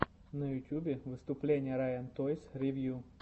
на ютубе выступление райан тойс ревью